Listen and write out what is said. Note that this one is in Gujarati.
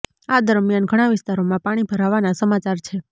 આ દરમિયાન ઘણા વિસ્તારોમાં પાણી ભરાવાના સમાચાર છે